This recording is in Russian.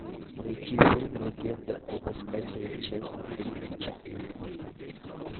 найти фильм легенда об искателе часть тридцать четыре